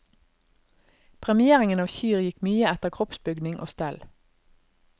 Premieringen av kyr gikk mye etter kroppsbygning og stell.